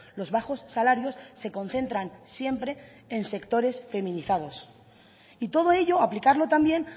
los bajos salarios se concentran siempre en sectores feminizados y todo ello aplicarlo también